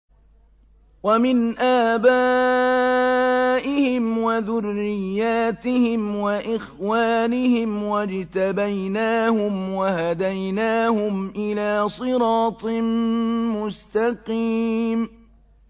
وَمِنْ آبَائِهِمْ وَذُرِّيَّاتِهِمْ وَإِخْوَانِهِمْ ۖ وَاجْتَبَيْنَاهُمْ وَهَدَيْنَاهُمْ إِلَىٰ صِرَاطٍ مُّسْتَقِيمٍ